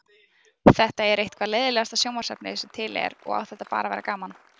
Það er eitthvað leiðinlegasta sjónvarpsefni sem til er og á þetta bara að vera gaman